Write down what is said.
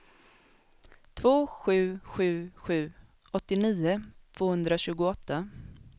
två sju sju sju åttionio tvåhundratjugoåtta